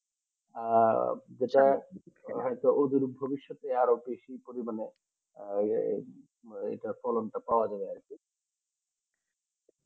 আর যেটা ওদের ভবিষৎ এ আর ও বেশি পরিমানে তাহলে ওইটা কলমটা পাওয়া যাবে আরকি